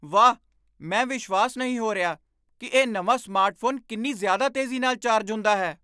ਵਾਹ, ਮੈਂ ਵਿਸ਼ਵਾਸ ਨਹੀਂ ਹੋ ਰਿਹਾ ਕਿ ਇਹ ਨਵਾਂ ਸਮਾਰਟਫੋਨ ਕਿੰਨੀ ਜ਼ਿਆਦਾ ਤੇਜ਼ੀ ਨਾਲ ਚਾਰਜ ਹੁੰਦਾ ਹੈ!